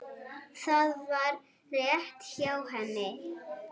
Það var rétt hjá henni.